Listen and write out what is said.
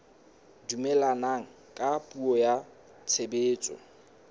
dumellana ka puo ya tshebetso